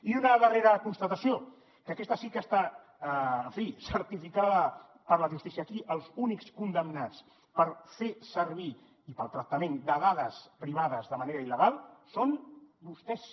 i una darrera constatació que aquesta sí que està en fi certificada per la justícia aquí els únics condemnats per fer servir i pel tractament de dades privades de manera il·legal són vostès